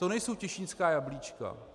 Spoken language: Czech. To nejsou těšínská jablíčka.